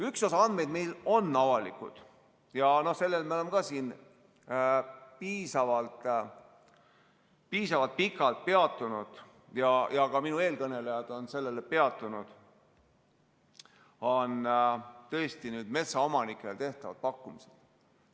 Üks osa andmeid meil on avalikud ja sellel me oleme ka siin piisavalt pikalt peatunud ja ka minu eelkõnelejad on sellel peatunud – need on tõesti metsaomanikele tehtavad pakkumised.